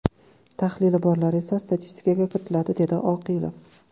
Tahlili borlar esa statistikaga kiritiladi”, dedi Oqilov.